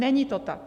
Není to tak.